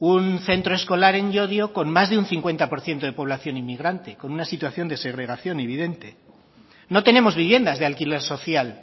un centro escolar en llodio con más de un cincuenta por ciento de población inmigrante con una situación de segregación evidente no tenemos viviendas de alquiler social